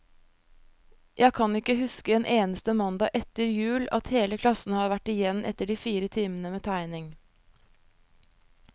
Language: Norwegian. Jeg kan ikke huske en eneste mandag etter jul, at hele klassen har vært igjen etter de fire timene med tegning.